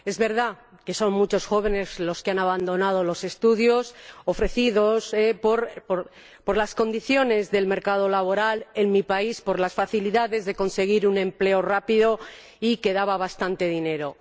Es verdad que son muchos los jóvenes que han abandonado los estudios ofrecidos, debido a las condiciones del mercado laboral en mi país, por las facilidades de conseguir un empleo rápido y que daba bastante dinero.